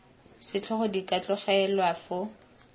setlhogo di ka tlogelwa foo